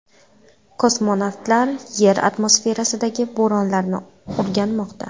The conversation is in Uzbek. Kosmonavtlar Yer atmosferasidagi bo‘ronlarni o‘rganmoqda.